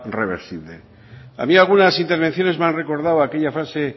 reversible había algunas intervenciones me han recordado aquella frase